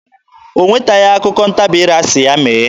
O nwetaghị okwu ntabi ire asị ya mee.